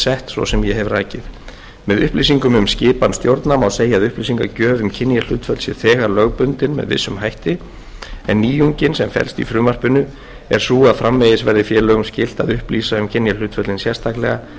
sett svo sem ég hef rakið með upplýsingum um skipan stjórna má segja að upplýsingagjöf um kynjahlutföll sé þegar lögbundin með vissum hætti en nýjungin sem felst í frumvarpinu er sú að framvegis verði félögum skylt að upplýsa um kynjahlutföllin sérstaklega